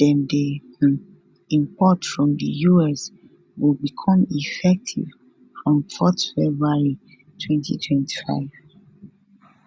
dem dey um import from di us go become effective from 4 february 2025